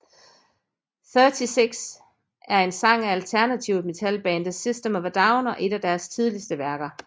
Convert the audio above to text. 36 er en sang af alternativ metalbandet System of a Down og et af deres tidligste værker